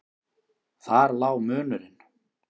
Þar lá munurinn.